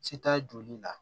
Se t'a joli la